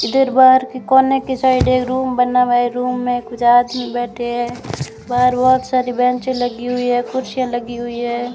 इधर बाहर के कोने की साइड एक रूम बना हुआ है रूम में कुछ आदमी में बैठे है बाहर बहोत सारी बेंच लगी हुई है कुर्सियां लगी हुई है।